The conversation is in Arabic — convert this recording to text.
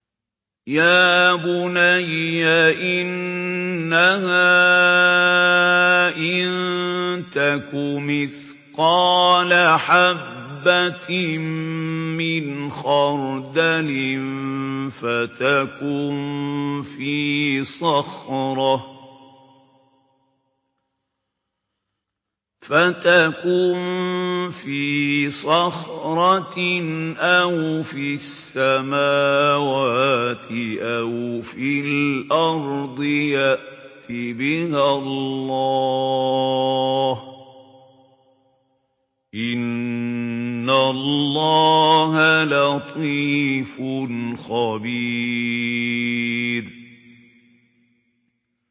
يَا بُنَيَّ إِنَّهَا إِن تَكُ مِثْقَالَ حَبَّةٍ مِّنْ خَرْدَلٍ فَتَكُن فِي صَخْرَةٍ أَوْ فِي السَّمَاوَاتِ أَوْ فِي الْأَرْضِ يَأْتِ بِهَا اللَّهُ ۚ إِنَّ اللَّهَ لَطِيفٌ خَبِيرٌ